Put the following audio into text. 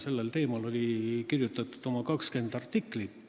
Sellel teemal kirjutati oma 20 artiklit.